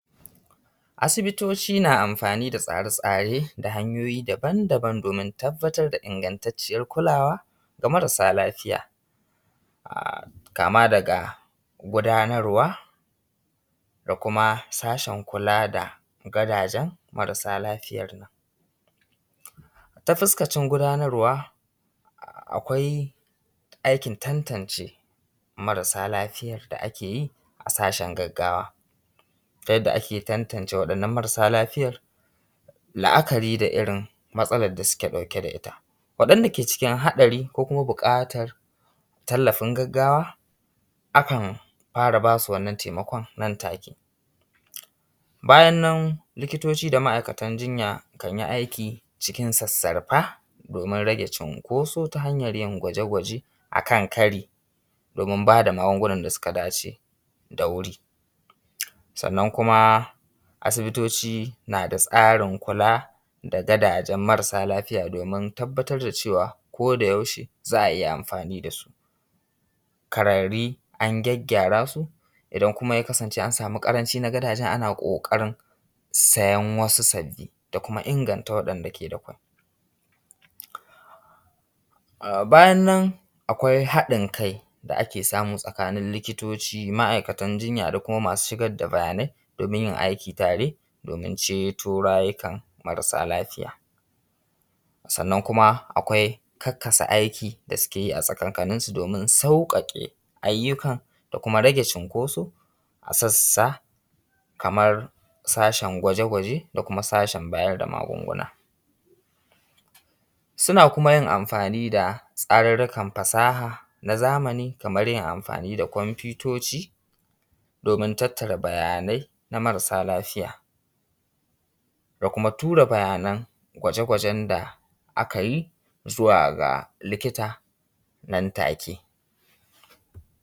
Asibitoci na amfani da tsare tsare da hanyoyi daban daban domin tabbatar da ingantacciyar kulawa ga marasa lafiya kama daga gudanarwa, da kuma sashen kula da gadajen marasa lafiyar nan. Ta fuskacin gudanarwa akwai aikin tantance marasa lafiya da ake yi a sashen gaggawa ta yanda ake tantance waɗannan marasa lafiyar, la’akari da irin matsalar da suke ɗauke da ita. Waɗanda ke cikin haɗari ko kuma buƙatan tallafin gaggawa akan fara ba su wannan taimakon nan take. Bayan nan likitoci da ma’aikatan jinya kan yi aiki cikin sassarfa domin rage cinkoso ta hanyar yin gwaje gwaje a kan kari domin ba da magungunan da suka dace da wuri. Sannan kuma asibitoci na da tsarin kula da gadajen marasa lafiya domin tabbatar da cewa koda yaushe za a iya amfani da su. Kararri an gyaggyara su, idan kuma ya kasance an samu karanci na gadajen ana ƙoƙarin sayen wasu sabbi da kuma inganta waɗanda ke da kwai. Bayan nan akwai haɗin kai da ake samu tsakanin likitoci, ma.aikatan jinya da kuma masu shigar da bayanai domin yin aiki tare domin ceto rayukan marasa lafiya. Sannan kuma akwai karkasa aiki da sukeyi a tsakankaninsu su domin sauƙaƙe ayyuka da kuma rage cinkoso a sassa kamar sashen gwaje gwaje, da kuma sashen bayar da magunguna. Suna kuma amfani da tsarurrukan fasaha na zamani kamar yin amfani da kumfutoci domin tattara bayanai na marasa lafiya, da kuma tura bayanan da gwaje gwajen da aka yi zuwa ga likita nan take.